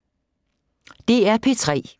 DR P3